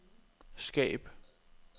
skab